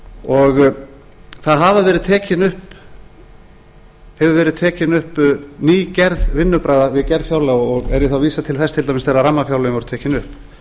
og það hefur verið tekin upp ný gerð vinnubragða við gerð fjárlaga og er ég þá að vísa til þess til dæmis þegar rammafjárlögin voru tekin upp